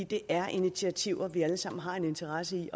det er initiativer vi alle sammen har en interesse i